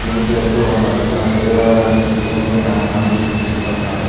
gym చేస్తూ ఉన్నాడు తన శరీరాన్ని పెంచుకుంటూ హె కండలు చూపిస్తూ ఉన్నాడు అతను--